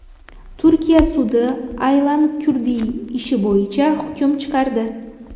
Turkiya sudi Aylan Kurdiy ishi bo‘yicha hukm chiqardi.